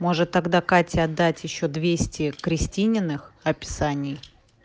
может тогда кате отдать ещё двести крестининых описаний